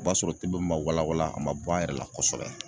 O b'a sɔrɔ tɛbɛn ma wala wala , a ma bɔ an yɛrɛ la kosɛbɛ.